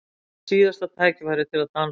Síðasta tækifærið til að dansa